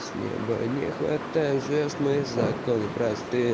с неба не хватает звёзд мои законы просты